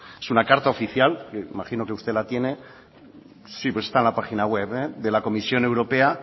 es una carta oficial me imagino que usted la tiene pues está en la página web de la comisión europea